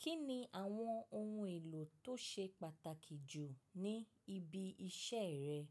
Kí ni àwọn ohun èlò tó ṣe pàtàkì jù ní ibi